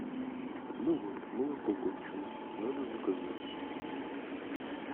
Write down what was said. ну вот молоко кончилось надо заказать